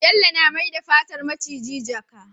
Bello na mai da fatar miciji jaka